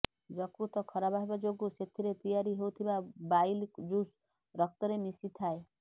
ଯକୃତ ଖରାପ ହେବା ଯୋଗୁଁ ସେଥିରେ ତିଆରି ହେଉଥିବା ବାଇଲ ଜୁସ୍ ରକ୍ତରେ ମିଶିଥାଏ